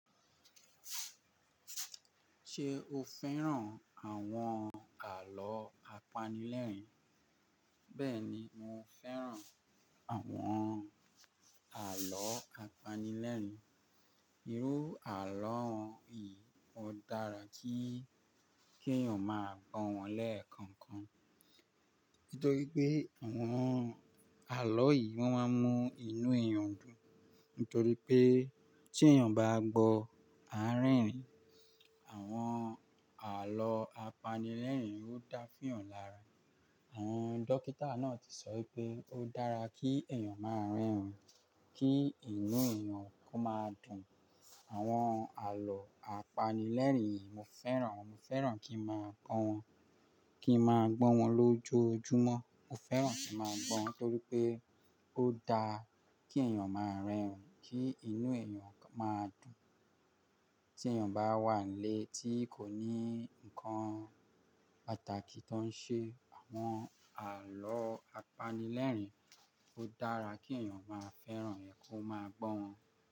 Ṣé o fẹ́ràn àwọn àlọ́ apanilẹ́rìn-ín? Bẹ́ẹ̀ni, mo fẹ́ràn àwọn àlọ́ apanilẹ́rìn-ín. Irú àlọ́ yìí ó dára kí, kí èèyàn máa gbọ́ wọn lẹ́ẹ̀kọ̀ọ̀kan. Nítorí pé àwọn àlọ́ yìí won maa ń mú inú èèyàn dùn. Nítorí pé tí èèyàn bá gbọ́ àárín-ìn, àwọn àlọ́ apanilẹ́rìn-ín ó dá fún ìyàn lára. Àwọn dókítà náà ti sọ pé ó dára kí èèyàn máa rẹ́rìn-ín kí inú èèyàn kó máa dùn. Àwọn àlọ́ apanilẹ́rìn-ín mo fẹ́ràn, mo fẹ́ràn kí n máa gbọ́ wọn, kí n máa gbọ́ wọn lójoojúmọ́. Mo fẹ́ràn kí n máa gbọ́ wọn torí pé ó dá kí èèyàn máa rẹ́rìn-ín, kí inú èèyàn máa dùn. Tí èèyàn bá wà nílé tí kò ní ǹkan pàtàkì tó ń ṣe, àwọn àlọ́ apanilẹ́rìn-ín ó dára kí èèyàn máa fẹ́ràn rẹ̀ kó máa gbọ́ wọn.